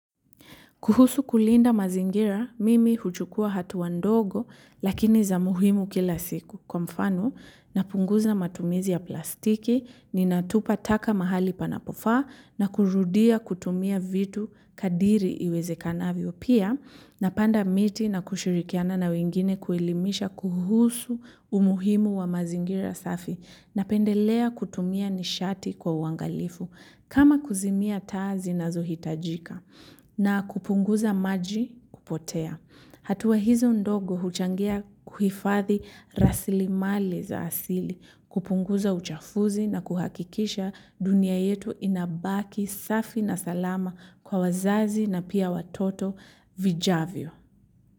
Kuhusu kulinda mazingira, mimi huchukua hatua ndogo, lakini za muhimu kila siku. Kwa mfano napunguza matumizi ya plastiki, ninatupa taka mahali panapofaa, na kurudia kutumia vitu kadiri iwezekanavyo. Pia, napanda miti na kushirikiana na wengine kuelimisha kuhusu umuhimu wa mazingira safi, napendelea kutumia nishati kwa uangalifu, kama kuzimia taa zinaz hitajika. Na kupunguza maji kupotea. Hatua hizo ndogo huchangia kuhifadhi rasilimali za asili, kupunguza uchafuzi na kuhakikisha dunia yetu inabaki safi na salama kwa wazazi na pia watoto vijavyo.